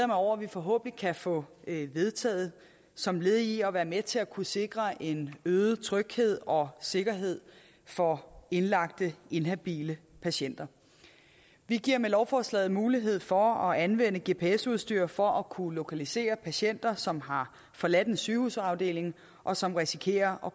mig over at vi forhåbentlig kan få vedtaget som led i at være med til at kunne sikre en øget tryghed og sikkerhed for indlagte inhabile patienter vi giver med lovforslaget mulighed for at anvende gps udstyr for at kunne lokalisere patienter som har forladt en sygehusafdeling og som risikerer at